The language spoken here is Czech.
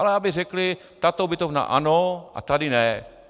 Ale aby řekli tato ubytovna ano a tady ne.